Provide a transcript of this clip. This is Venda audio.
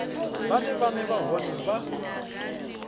vhane vhana vha hone vha